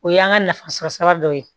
O y'an ka nafasɔrɔ sira dɔ ye